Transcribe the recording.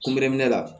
Kunbɛ la